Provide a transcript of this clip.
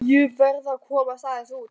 Ég verð að komast aðeins út.